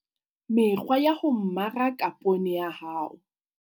Mekgwa ya ho mmaraka poone ya hao